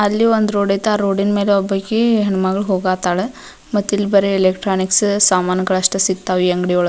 ಅಲ್ಲಿ ಒಂದ್ ರೋಡ್ ಐತಿ ಆ ರೋಡಿನ್ ಮ್ಯಾಲೆ ಒಬ್ಬಾಕ್ಕೀ ಹೆಣ್ಣ್ ಮಗಳ್ ಓಗಾತಾಳ್ ಮತ್ತಿಲ್ಲಿ ಎಲೆಕ್ಟ್ರೋನಿಕ್ಸ್ ಸಾಮಾನಗಳಷ್ಟೆ ಸಿಗ್ತಾವ್ ಈ ಅಂಗ್ಡಿ ಒಳ --